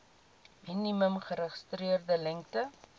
minimum geregistreerde lengte